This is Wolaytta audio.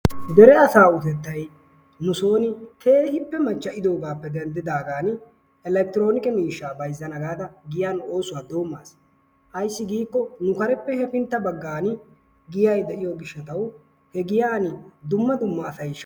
Dere asaa utettay nusooni keehippe machcha'idoogaappe denddidaagaani elekitiroonike miishshaa bayzzana. gaada giyan oosuwa doommas. Ayssi giikko nu kareppe hefintta baggan giyay de'iyo gishshatawu he giyani dumma dumma asay shammes.